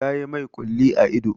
Ta yi mai ƙulli a ido.